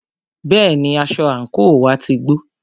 Bẹ́ẹ̀ni, aṣọ àńkò wá ti gbó.